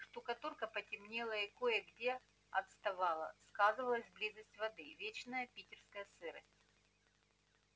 штукатурка потемнела и кое-где отставала сказывалась близость воды вечная питерская сырость